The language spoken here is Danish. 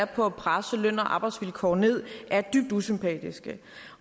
på at presse løn og arbejdsvilkår ned er dybt usympatiske